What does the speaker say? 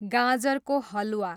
गाजरको हलवा